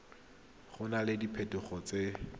go na le diphetogo tse